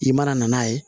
I mana na n'a ye